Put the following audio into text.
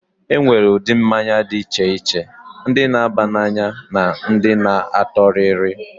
E nwere ụdị mmanya dị iche iche: ndị na-aba n'anya na ndị na-atọ rịrị.